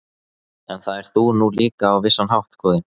En það ert þú nú líka á vissan hátt, góði